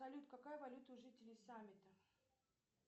салют какая валюта у жителей саммита